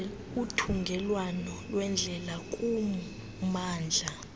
uthungelwano lweendlela kummandla